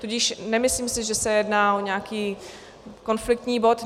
Tudíž nemyslím si, že se jedná o nějaký konfliktní bod.